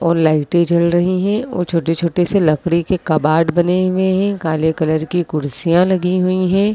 और लाइटें जल रही हैं और छोटे छोटे से लकड़ी के कबार्ड बने हुए हैं। काले कलर की कुर्सियां लगी हुई हैं।